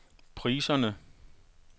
priserne